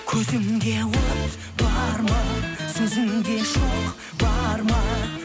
көзіңде от бар ма сөзіңде шоқ бар ма